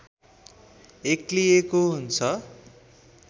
एक्लिएको हुन्छ